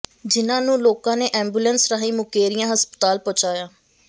ਜਿਹਨਾਂ ਨੂੰ ਲੋਕਾਂ ਨੇ ਐਮਬੂਲੈਂਸ ਰਾਹੀਂ ਮੁਕੇਰੀਆਂ ਹਸਪਤਾਲ ਪਹੁੰਚਾਇਆ